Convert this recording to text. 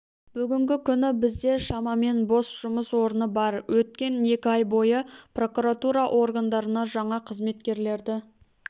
бүгінгі күні бізде шамамен бос жұмыс орны бар өткен екі ай бойы прокуратура органдарына жаңа қызметкерлерді